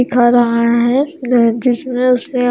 दिखा रहा है जिसमे उसे--